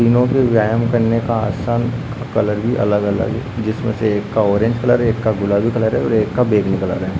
तीनो के व्यायाम करने का आसान कलर भी अलग-अलग है जिसमे से एक का ऑरेंज कलर है एक का गुलाबी कलर है और एक का बैंगनी कलर है।